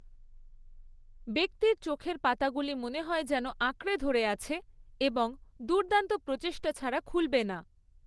ব্যক্তির চোখের পাতাগুলি মনে হয় যেন আঁকড়ে ধরে আছে এবং দুর্দান্ত প্রচেষ্টা ছাড়া খুলবে না।